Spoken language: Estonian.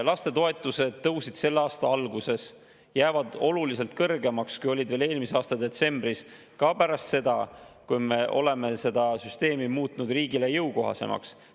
Lastetoetused tõusid selle aasta alguses ja jäävad oluliselt kõrgemaks, kui olid veel eelmise aasta detsembris, ka pärast seda, kui me oleme seda süsteemi muutnud riigile jõukohasemaks.